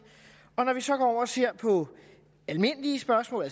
og når vi så går ser på almindelige spørgsmål